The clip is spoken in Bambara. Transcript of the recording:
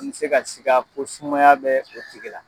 N bɛ se ka siga ko sumaya bɛ o tigi la.